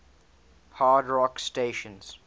hard rock stations